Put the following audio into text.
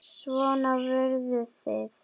Svona voruð þið.